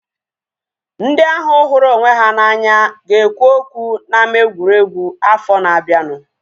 Ndị ahu hụrụ onwe ha na anya ga ekwu okwu na ama egwuregwu afọ na abianu